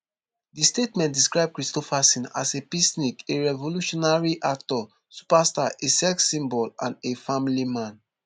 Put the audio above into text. di statement describe kristofferson as a peacenik a revolutionary actor superstar a sex symbol and a family man